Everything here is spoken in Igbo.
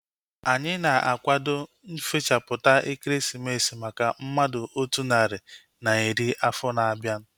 Anyị na-akwado nfechaputa ekeresimesi maka mmadụ otu narị na iri afọ na-abịa